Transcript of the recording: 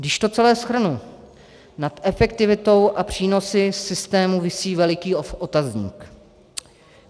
Když to celé shrnu, nad efektivitou a přínosy systému visí veliký otazník.